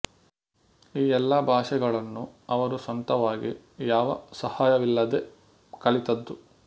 ಈ ಎಲ್ಲಾ ಭಾಷೆಗಳನ್ನು ಅವರು ಸ್ವಂತವಾಗಿ ಯಾವ ಸಹಾಯವಿಲ್ಲದೆ ಕಲಿತ್ತದ್ದು